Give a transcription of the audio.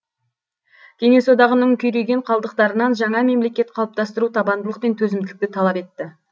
кеңес одағының күйреген қалдықтарынан жаңа мемлекет қалыптастыру табандылық пен төзімділікті талап етті